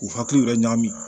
K'u hakili yɛrɛ ɲami